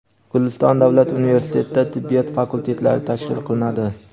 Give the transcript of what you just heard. Guliston davlat universitetida tibbiyot fakultetlari tashkil qilinadi.